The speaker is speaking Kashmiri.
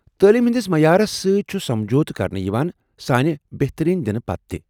تعلیم ہندِس معیارس سۭتۍ چھُ سمجھوتہٕ كرنہٕ یوان سانہِ بہترین دِنہٕ پتہٕ تہِ ۔